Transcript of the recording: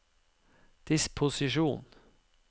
disposisjon